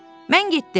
Mən getdim.